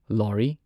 ꯂꯣꯍꯔꯤ